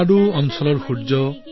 ৰেনাডু ৰাজ্যৰ সূৰ্য